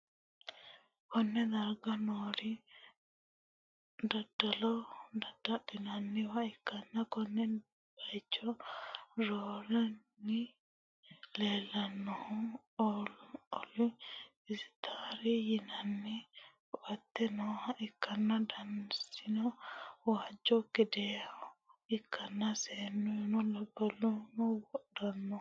konne darga noori daddalo dadda'linanniwa ikkanna, konne bayicho roorenkanni leellanni noohu ooli isitaari yinanni ko'atte nooha ikkanna, danasino waajju gedeha ikkanna, seennuno labballuno wodhanno.